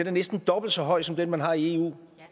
er næsten dobbelt så høj som den man har i eu